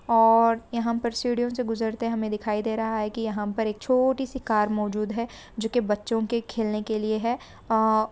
और यहाँ पर सीढ़ियों से गुजरते हमें दिखाई दे रहा है | के यहाँ पर एक छोटी सी कार मौजूद है जो के बच्चो के खेलने के लिए है अ --